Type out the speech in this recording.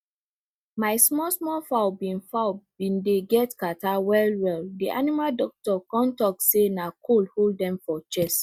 my small small fowl been fowl been dey get catarrh well well the animal doctor come talk say na cold hold dem for chest